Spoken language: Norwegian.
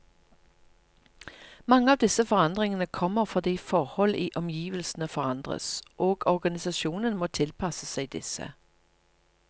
Mange av disse forandringene kommer fordi forhold i omgivelsene forandres, og organisasjonen må tilpasse seg disse.